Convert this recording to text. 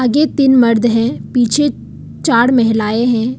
ये तीन मर्द है पीछे चार महिलाएं हैं।